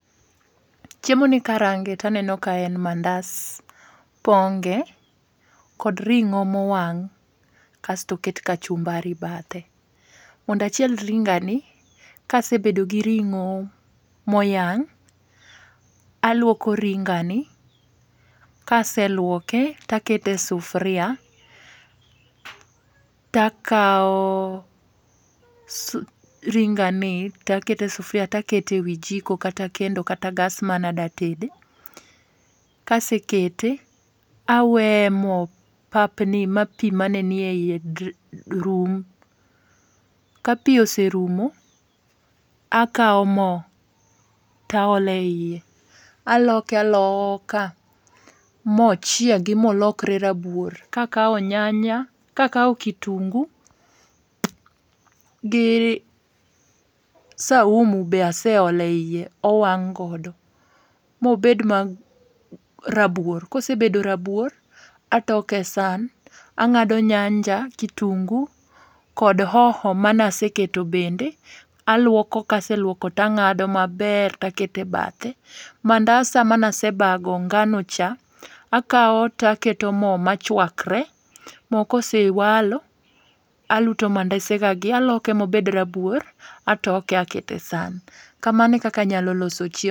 Chiemoni karange to aneno ka en mandas ponge', kod ringo' mowang' kasto oket kachumbari bathe, mondo achiel ringa'ni, kasebedo gi ringo mayang' aluoko ringani, kaseluoke to akete sufuria, ta akawo ringani to akete sufuria to akete e wi jiko kata kendo kata gas mana ade tede, kase kete aweye mo papni ma pi mane nie yiye ma rum , ka pi oserumo , akawo mo to aole hiye aloke aloke aloka ma ochiengi ma olokre rabuor kakawo nyanya kakawo kitungi gi saumu be aseole hiye owang' godo, ma obed rabuor ka ose osebedo rabuor atoke san angado nyanja kitungu kod hoho mane aseketo bende, aluoko kase luoko to anga'do maber to akete e bathe, mandasa mane asebago nganocha , akawo to aketo mo ma chuakre , mo kosewalo aluto mandesa mandesagagi aloke ma obed rabuor atoke akete san kamano eka anyalo loso chiemo.